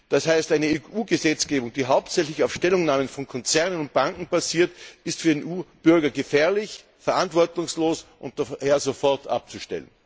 Das heißt, eine EU Gesetzgebung, die hauptsächlich auf Stellungnahmen von Konzernen und Banken basiert, ist für den EU Bürger gefährlich, verantwortungslos und daher sofort abzustellen.